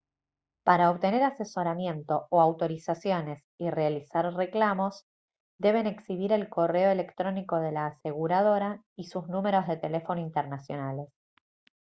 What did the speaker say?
para obtener asesoramiento o autorizaciones y realizar reclamos deben exhibir el correo electrónico de la aseguradora y sus números de teléfono internacionales